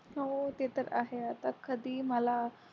होते तर आहे आता कधीही मला